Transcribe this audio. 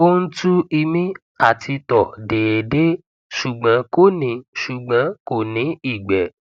ó ń tu ìmi àti tọ déédéé ṣùgbọn kò ní ṣùgbọn kò ní ìgbẹ